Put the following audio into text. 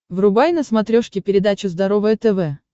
врубай на смотрешке передачу здоровое тв